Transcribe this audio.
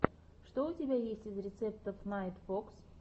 что у тебя есть из рецептов найтфокс